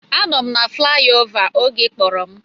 Anọ m na flayova oge ị kpọrọ m